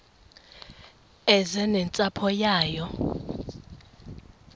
eze nentsapho yayo